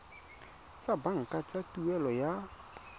tsa banka tsa tuelo ya